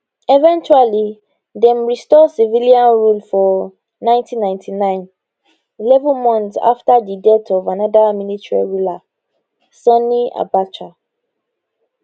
eventually dem restore civilian rule for 1999 eleven months afta di death of anoda military ruler sani abacha